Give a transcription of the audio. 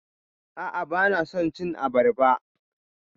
A'a, bana son cin abarba.